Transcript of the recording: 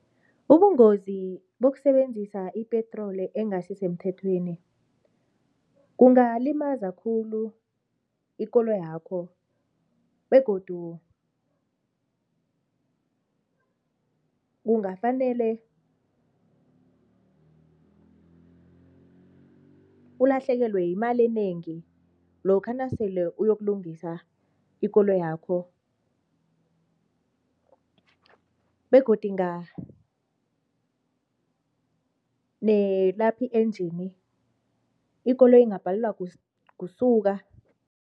Ubungozi bokusebenzisa ipetroli engasisemthethweni kungalimaza khulu ikoloyakho begodu kungafanele ulahlekelwe yimali enengi lokha nasele uyokulungisa ikoloyi yakho begodu i-engine ikoloyi ingabhalelwa kusuka.